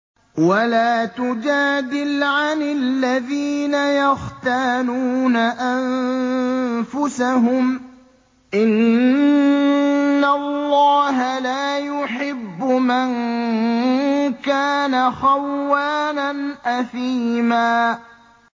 وَلَا تُجَادِلْ عَنِ الَّذِينَ يَخْتَانُونَ أَنفُسَهُمْ ۚ إِنَّ اللَّهَ لَا يُحِبُّ مَن كَانَ خَوَّانًا أَثِيمًا